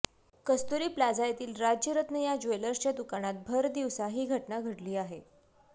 कस्तुरी plaza येथील राजरत्न या ज्वेलर्सच्या दुकानात भरदिवसा ही घटना घडली आहे